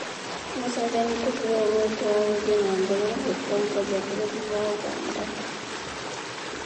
Museveni kũheo mweke wa gũthiĩ na mbere na gũtongoria bũrũri wa Ũganda.